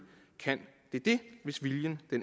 kan det det hvis viljen